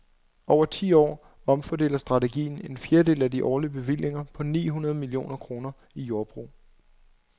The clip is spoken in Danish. Over ti år omfordeler strategien en fjerdedel af de årlige bevillinger på ni hundrede millioner kroner i jordbrug.